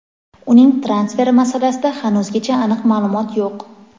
Uning transferi masalasida hanuzgacha aniq ma’lumot yo‘q;.